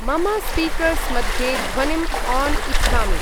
मम स्पीकर्स् मध्ये ध्वनिम् आन् इच्छामि।